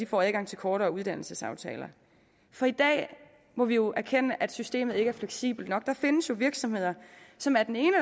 får adgang til kortere uddannelsesaftaler i dag må vi jo erkende at systemet ikke er fleksibelt nok der findes jo virksomheder som af den ene